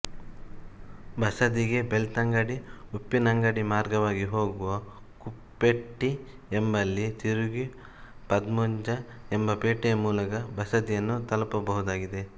ಬಸದಿಗೆ ಬೆಳ್ತಂಗಡಿ ಉಪ್ಪಿನಂಗಡಿ ಮಾರ್ಗವಾಗಿ ಹೋಗುವಾಗ ಕುಪ್ಪೆಟ್ಟಿ ಎಂಬಲ್ಲಿ ತಿರುಗಿ ಪದ್ಮುಂಜ ಎಂಬ ಪೇಟೆ ಮೂಲಕ ಬಸದಿಯನ್ನು ತಲುಪ ಬಹುದಾಗಿದೆ